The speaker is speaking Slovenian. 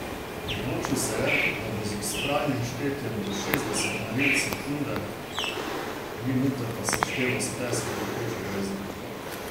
Odločil se je, da bo z vztrajnim štetjem do šestdeset meril sekunde, minute pa sešteval s tleski pekočega jezika.